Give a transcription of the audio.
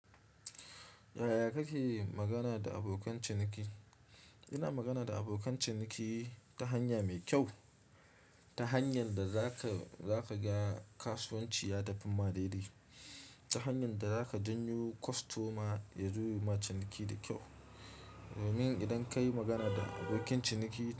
Yaya kake yi magana da abokan ciniki? Ina magana da abokan ciniki ta hanya mai kyau, ta hanyar da zaka, zaka ga kasuwanci ya tafi madaidai, ta hanyar da zaka janyo kwastoma yazo yama ciniki da kyau. Domin idan ka yi magana da abokin ciniki.